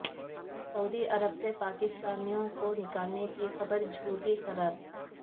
سعودی عرب سے پاکستانیوں کو نکالنے کی خبر جھوٹی قرار